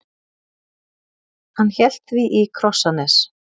Hann hélt því í Krossanes.